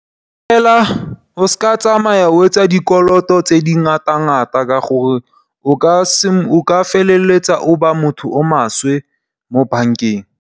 Fela o se ka o tsamaya o etsa dikoloto tse di ngata-ngata ka gore o ka feleletsa o ba motho o maswe mo bankeng.